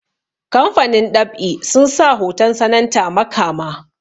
kamafanin ɗab'i sun sa hoton sananta makama